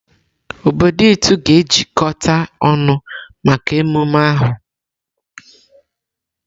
Obodo Itu ga-ejikọta ọnụ maka emume ahụ.